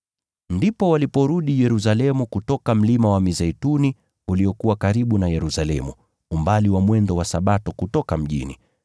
Ndipo waliporudi Yerusalemu kutoka Mlima wa Mizeituni, uliokuwa karibu na Yerusalemu, umbali wa mwendo wa Sabato kutoka mjini.